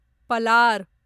Palar